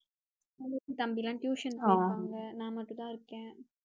தங்கச்சி தம்பி எல்லாம் tuition போவாங்கல, நான் மட்டும்தான் இருக்கேன்